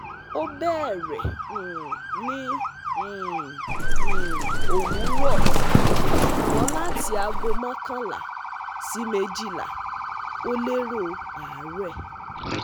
O beere um ni um um owuro, sugbon lati ago makanla si mejila, o lero aare